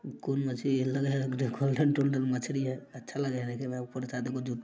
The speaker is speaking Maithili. कुन मछली है लग रहा है मछली है अच्छा लग रहा है देखे में --